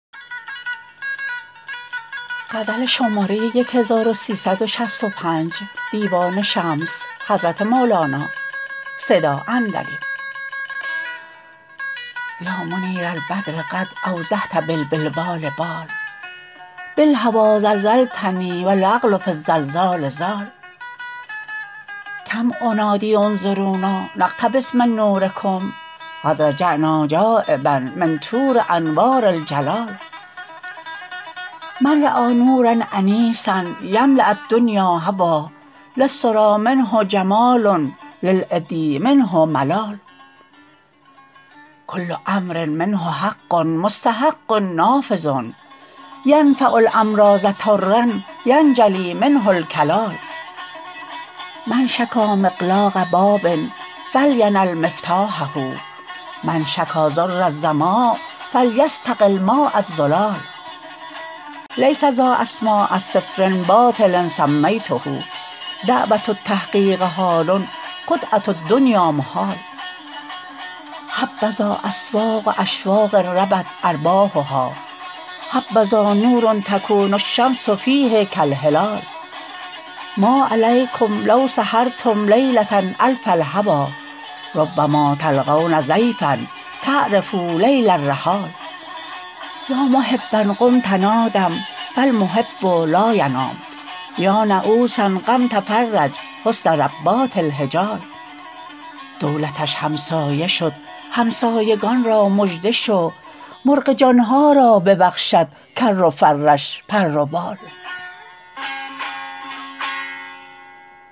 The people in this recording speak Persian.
یا منیر البدر قد اوضحت بالبلبال بال بالهوی زلزلتنی و العقل فی الزلزال زال کم انادی انظر ونا نقتبس من نورکم قد رجعنا جانبا من طور انوار الجلال من رأی نورا انیسا یملاء الدنیا هوی للسری منه جمال للعدی منه ملال کل امر منه حق مستحق نافذ ینفع الامراض طرا ینجلی منه الکلال من شکا مغلاق باب فلینل مفتاحه من شکا ضر الظما فلیستقی الماء الزلال لیس ذا اسماء صفر باطل سمیته دعوة التحقیق حال خدعة الدنیا محال حبذا اسواق اشواق ربت ارباحها حبذا نور یکون الشمس فیه کالهلال ما علیکم لو سهرتم لیلة الف الهوی ربما تلقون ضیفا تعرفوا لیل الرحال یا محبا قم تنادم فالمحب لا ینام یا نعوسا قم تفرج حسن ربات الحجال دولتش همسایه شد همسایگان را مژده شو مرغ جان ها را ببخشد کر و فرش پر و بال